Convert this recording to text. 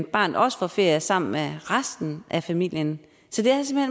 barnet også får ferie sammen med resten af familien så det er